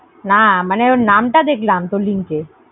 না মানে নাম টা দেখলাম তোর link এ